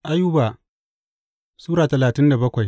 Ayuba Sura talatin da bakwai